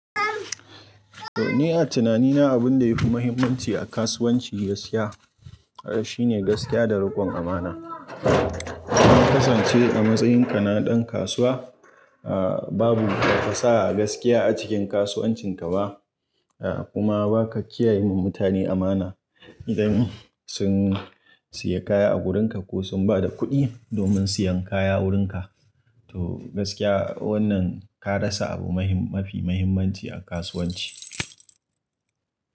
Ni a tunanina abin da yafi muhimmanci a kasuwanci ga skiya shi ne gaskiya da rikon amana. Idan ka kasance a matsayin kanaɗan kasuwa, ah babu kasa gaskiya a cikin kasuwancin ka ba kuma baka kiyayewa mutane amana idan sun siya kaya a wurin ka ko sun bada kuɗi domin siyan kaya wurin ka. To gaskiya wannan ka rasa abu mafi muhimmanci a kasuwanci.